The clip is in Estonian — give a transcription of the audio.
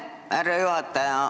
Aitäh, härra juhataja!